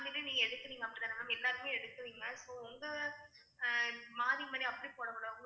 நீங்க எடுக்குறீங்க அப்படிதானே ma'am எல்லாருமே எடுக்குறீங்க so வந்து மாறி மாறி அப்படி போடக்கூடாது